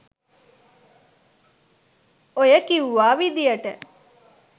ඔය කිව්වා විදියට